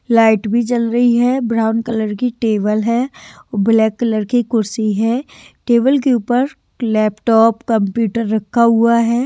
Light भी जल रही है ब्राउन कलर की टेबल है ब्लैक कलर की कुर्सी है टेबल के ऊपर लैपटॉप कंप्यूटर रखा हुआ है।